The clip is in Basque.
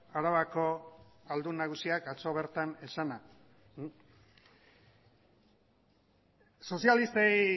arabako aldun nagusiak atzo bertan esana sozialistei